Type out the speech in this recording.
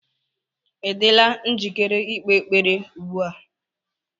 Ị dịla njikere ikpe ekpere ugbu a?